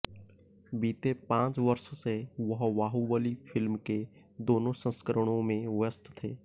बीते पांच वर्ष से वह बाहुबली फिल्म के दोनों संस्करणों में व्यस्त थे